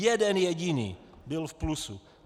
Jeden jediný byl v plusu.